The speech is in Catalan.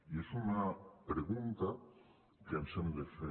i és una pregunta que ens hem de fer